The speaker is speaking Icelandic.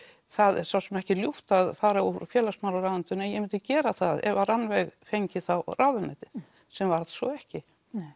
það ekki ljúft að fara úr félagsmálaráðuneytinu en ég myndi gera það ef Rannveig fengi þá ráðuneytið sem varð svo ekki